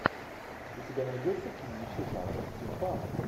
у тебя найдется кинище жанра стимпанк